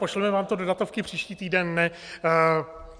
Pošleme vám to do datovky příští týden.